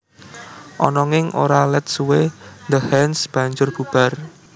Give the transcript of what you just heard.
Ananging ora let suwé The Hands banjur bubar